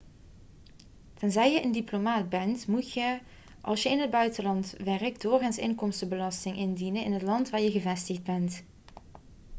tenzij je een diplomaat bent moet je als je in het buitenland werkt doorgaans inkomstenbelasting indienen in het land waar je gevestigd bent